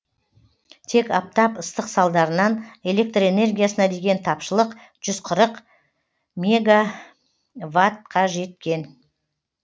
тек аптап ыстық салдарынан электр энергиясына деген тапшылық жүз қырық мегаватқа жеткен